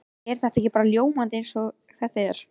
Er þetta ekki bara ljómandi eins og þetta er?